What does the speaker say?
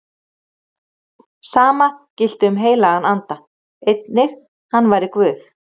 Sama gilti um heilagan anda, einnig hann væri Guð.